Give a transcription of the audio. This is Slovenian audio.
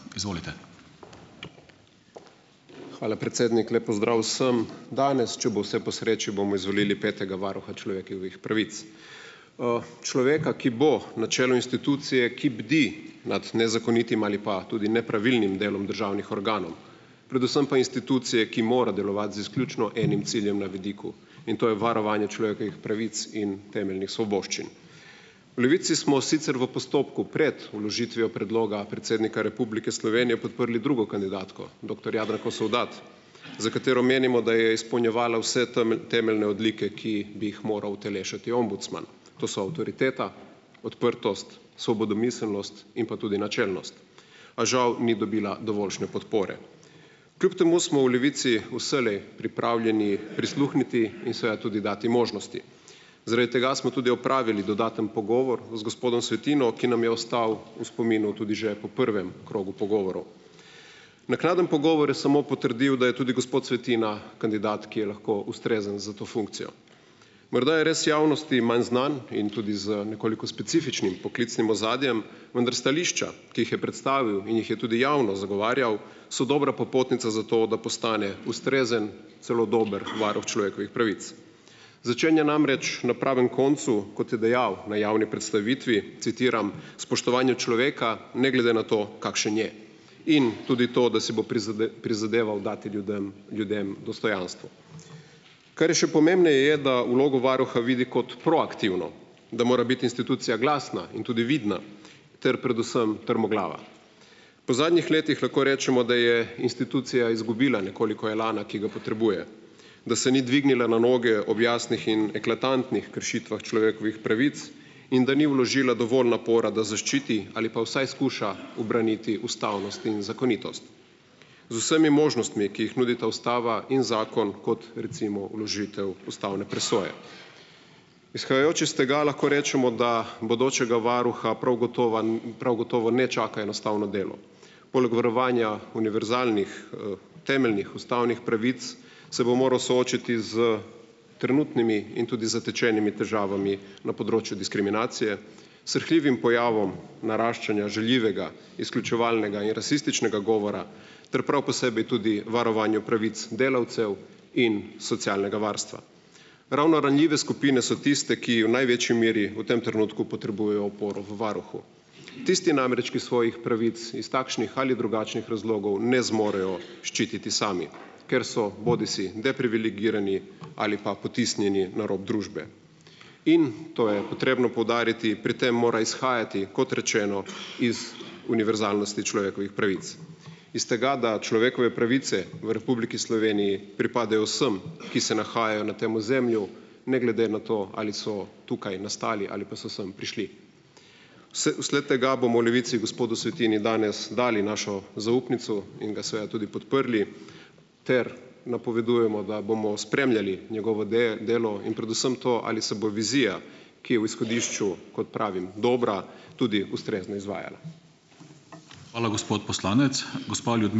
Izvolite. Hvala, predsednik, lep pozdrav vsem. Danes, če bo vse po sreči, bomo izvolili petega varuha človekovih pravic, človeka, ki bo na čelu institucije, ki bdi nad nezakonitim ali pa tudi nepravilnim delom državnih organov, predvsem pa institucije, ki mora delovati z izključno enim ciljem na vidiku, in to je varovanje človekovih pravic in temeljnih svoboščin. V Levici smo sicer v postopku pred vložitvijo predloga predsednika Republike Slovenije podprli drugo kandidatko, doktor Jadranko Sovdat, za katero menimo, da je izpolnjevala vse temeljne odlike, ki bi jih moral utelešati ombudsman, to so avtoriteta, odprtost, svobodomiselnost in pa tudi načelnost, a žal ni dobila dovoljšne podpore. Kljub temu smo v Levici vselej pripravljeni prisluhniti in seveda tudi dati možnosti, zaradi tega smo tudi opravili dodaten pogovor z gospodom Svetino, ki nam je ostal v spominu tudi že po prvem krogu pogovorov. Naknadni pogovor je samo potrdil, da je tudi gospod Svetina kandidat, ki je lahko ustrezen za to funkcijo. Morda je res javnosti manj znan in tudi z nekoliko specifičnim poklicnim ozadjem, vendar stališča, ki jih je predstavil in jih je tudi javno zagovarjal, so dobra popotnica za to, da postane ustrezen, celo dober varuh človekovih pravic. Začenja namreč na pravem koncu, kot je dejal na javni predstavitvi, citiram: "Spoštovanju človeka, ne glede na to, kakšen je." In tudi to, da si bo prizadeval dati ljudem ljudem dostojanstvo. Kar je še pomembneje, je, da vlogo varuha vidi kot proaktivno, da mora biti institucija glasna in tudi vidna ter predvsem trmoglava. Po zadnjih letih lahko rečemo, da je institucija izgubila nekoliko elana, ki ga potrebuje, da se ni dvignila na noge ob jasnih in eklatantnih kršitvah človekovih pravic in da ni vložila dovolj napora, da zaščiti ali pa vsaj skuša ubraniti ustavnost in zakonitost. Z vsemi možnostmi, ki jih nudita ustava in zakon, kot recimo vložitev ustavne presoje. Izhajajoče iz tega lahko rečemo, da bodočega varuha prav gotovo prav gotovo ne čaka enostavno delo. Poleg varovanja univerzalnih, temeljnih ustavnih pravic se bo moral soočiti s trenutnimi in tudi zatečenimi težavami na področju diskriminacije, srhljivim pojavom naraščanja žaljivega, izključevalnega in rasističnega govora ter prav posebej tudi varovanju pravic delavcev. In socialnega varstva. Ravno ranljive skupine so tiste, ki v največji meri v tem trenutku potrebujejo oporo v varuhu. Tisti namreč, ki svojih pravic iz takšnih ali drugačnih razlogov ne zmorejo ščititi sami, ker so bodisi deprivilegirani ali pa potisnjeni na rob družbe. In to je potrebno poudariti, pri tem mora izhajati kot rečeno, iz univerzalnosti človekovih pravic, iz tega, da človekove pravice v Republiki Sloveniji pripadajo vsem, ki se nahajajo na tem ozemlju, ne glede na to, ali so tukaj nastali ali pa so samo prišli. vsled tega bomo Levici gospodu Svetini danes dali našo zaupnico in ga seveda tudi podprli ter napovedujemo, da bomo spremljali njegovo delo in predvsem to, ali se bo vizija, ki je v izhodišču, kot pravim, dobra, tudi ustrezno izvajala. Hvala, gospod poslanec, gospa ...